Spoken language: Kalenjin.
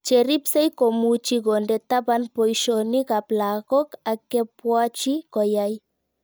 Cheripsei komuchii konde tapan poishonik ab lakok ak kepwatchi koyai